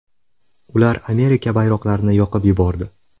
Ular Amerika bayroqlarini yoqib yubordi.